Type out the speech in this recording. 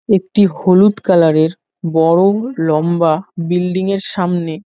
একটি হলুদ কালার -এর বড় লম্বা বিল্ডিং -এর সামনে--